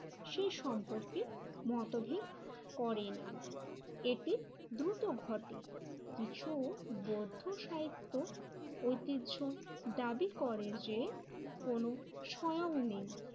সেই সম্পর্কে মতভেদ করে না। এতে দ্রুত ঘটে, কিছু বৌদ্ধ সাহিত্য ঐতিহ্য দাবি করে যে কোন স্বয়ং নেই